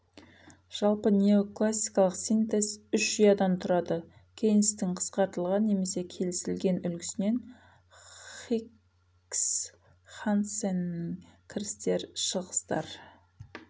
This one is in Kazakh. жалпы неоклассикалық синтез үш ұядан тұрады кейнстің қысқартылған немесе кесілген үлгісінен хикс хансенің кірістер шығыстар